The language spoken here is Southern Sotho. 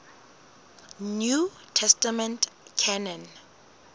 new testament canon